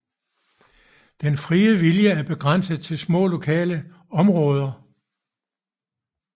Den frie vilje er begrænset til små lokale områder